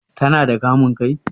Ta na da kamun kai?